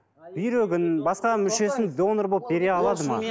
бүйрегін басқа мүшесін донор болып бере алады ма